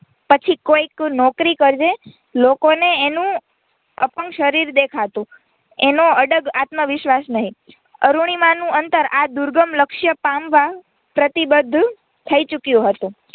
પછી કોઈક નોકરી કરજે લોકોને એનું અપંગ શરીર દેખાતું એનો અડગ આતમવિશ્વાસ નહીં અરૂણિમા નું અંતર આ દુર્ગમ લક્ષય પામવા પ્રતિબદ્ધ થઇ ચૂક્યું હતું.